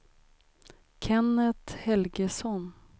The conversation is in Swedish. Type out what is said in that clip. Kennet Helgesson